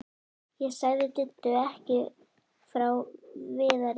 Ég sagði Diddu ekki frá Viðari.